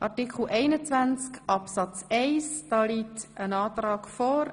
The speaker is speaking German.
Zu Artikel 21 Absatz 1 liegt ein Antrag vor.